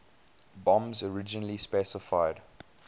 bombs originally specified